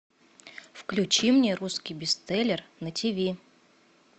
включи мне русский бестселлер на тиви